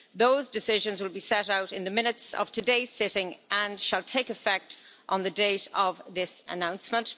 Those decisions will be set out in the Minutes of today's sitting and shall take effect on the date of this announcement.